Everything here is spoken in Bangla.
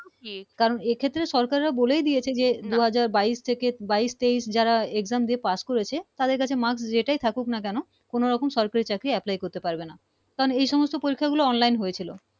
জি কারন এই ক্ষেত্রে সরকারা বলেই দিয়েছে যে দু হাজার বাইশ থেকে বাইশ তেইশ যারা Exam দিয়ে পাশ করেছে তাদের কাছে marks যেটাই থাকুক না কেনো কোন রকম সরকারি চাকরি Apply করতে পারবে না কারন এই সমস্ত পরিক্ষায় গুলো Online হয়েছিলো